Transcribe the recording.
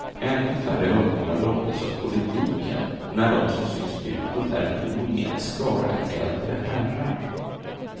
Ännu färre ungdomar lockas av politiken när de som syns utåt är en homogen skara äldre herrar.